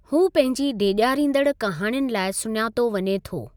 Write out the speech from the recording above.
हू पंहिंजी डेॼारींदड़ु कहाणियुनि लाइ सुञातो वञे थो।